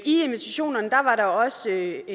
invitationerne var der også